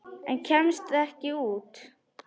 En kemst ekki út.